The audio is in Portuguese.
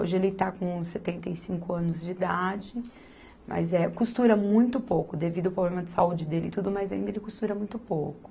Hoje ele está com setenta e cinco anos de idade, mas eh, costura muito pouco devido ao problema de saúde dele e tudo, mas ainda ele costura muito pouco.